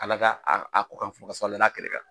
Ala ka a a ko kɛ fusalen ye na kelen bɛ yan.